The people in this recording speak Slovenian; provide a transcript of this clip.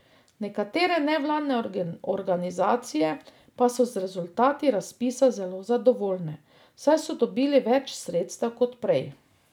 Nekatere nevladne organizacije pa so z rezultati razpisa zelo zadovoljne, saj so dobili več sredstev kot prej.